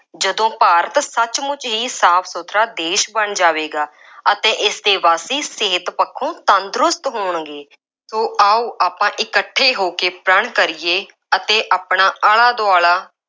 ਜਦੋਂ ਭਾਰਤ ਸੱਚਮੁੱਚ ਹੀ ਸਾਫ ਸੁਥਰਾ ਦੇਸ਼ ਬਣ ਜਾਵੇਗਾ ਅਤੇ ਇਸ ਦੇ ਵਾਸੀ ਸਿਹਤ ਪੱਖੋ ਤੰਦਰੁਸਤ ਹੋਣਗੇ। ਸੋ ਆਓ ਆਪਾਂ ਇਕੱਠੈ ਹੋ ਕੇ ਪ੍ਰਣ ਕਰੀਏ ਅਤੇ ਆਪਣਾ ਆਲਾ ਦੁਆਲਾ